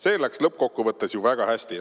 See läks lõppkokkuvõttes ju väga hästi.